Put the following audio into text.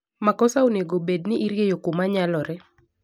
Makosa onego bed ni irieyo kumanyalore.